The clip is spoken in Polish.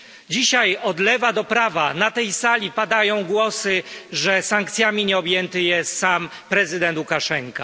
Dzisiaj od lewa do prawa na tej sali padają głosy, że sankcjami nie jest objęty sam prezydent Łukaszenko.